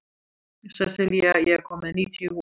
Sessilía, ég kom með níutíu húfur!